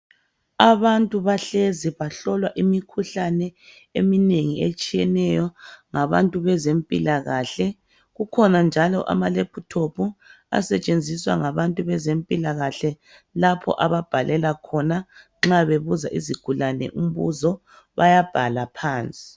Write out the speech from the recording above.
Abantu bahlezi bahlolwa imikhuhlane eminengi etshiyeneyo ngabantu bezempilakahle kukhona njalo amalephuthophu asetshenziswa ngabantu bezempilakahle lapho ababhalela khona nxa bebuza izigulane umbuzo bayaphala phansi.